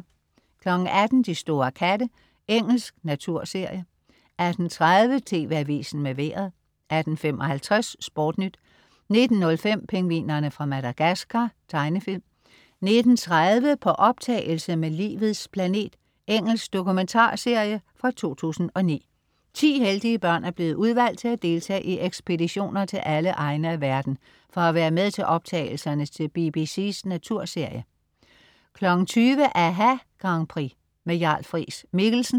18.00 De store katte. Engelsk naturserie 18.30 TV Avisen med Vejret 18.55 SportNyt 19.05 Pingvinerne fra Madagascar. Tegnefilm 19.30 På optagelse med Livets planet. Engelsk dokumentarserie fra 2009.Ti heldige børn er blevet udvalgt til at deltage i ekspeditioner til alle egne af verden for at være med til optagelserne til BBC's naturserie 20.00 aHA Grand Prix. Jarl Friis-Mikkelsen